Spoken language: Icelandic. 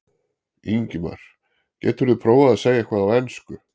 Ingimar: Geturðu prófað að segja eitthvað á ensku?